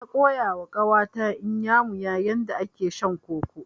Na koyawa ƙawa ta Inyamuya yadda ake shan koko.